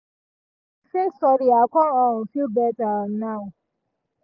as i say sorry i con um feel better um now